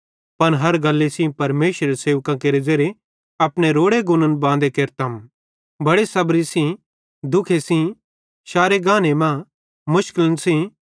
पन हर गल्ली सेइं परमेशरेरे सेवकां केरे ज़ेरे अपने रोड़े गुन्न बांदे केरतम बड़े सबरी सेइं दुःख सेइं शारे गाने मां मुशकलन सेइं